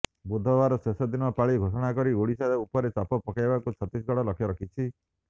ବୁଧବାର ଶେଷ ଦିନ ପାଳି ଘୋଷଣା କରି ଓଡ଼ିଶା ଉପରେ ଚାପ ପକାଇବାକୁ ଛତିଶଗଡ଼ ଲକ୍ଷ୍ୟ ରଖିଛି